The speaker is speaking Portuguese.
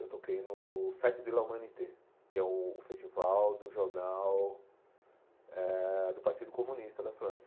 Eu toquei no Fête de l'Humanité, que é o festival do jornal eh do Partido Comunista da França.